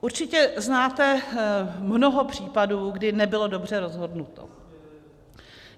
Určitě znáte mnoho případů, kdy nebylo dobře rozhodnuto.